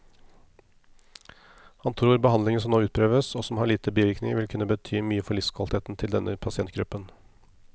Han tror behandlingen som nå utprøves, og som har lite bivirkninger, vil kunne bety mye for livskvaliteten til denne pasientgruppen.